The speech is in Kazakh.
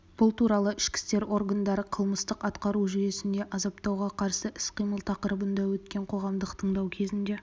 бұл туралы ішкі істер органдары қылмыстық-атқару жүйесінде азаптауға қарсы іс-қимыл тақырыбында өткен қоғамдық тыңдау кезінде